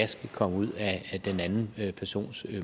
skal komme ud af den anden persons